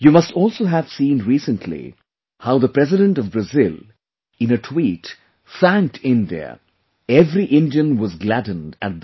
You must also have seen recently how the President of Brazil, in a tweet thanked India every Indian was gladdened at that